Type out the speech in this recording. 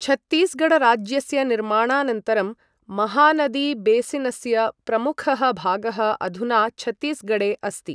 छत्तीसगढराज्यस्य निर्माणानन्तरं महानदीबेसिनस्य प्रमुखः भागः अधुना छत्तीसगढे अस्ति ।